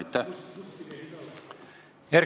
Aitäh!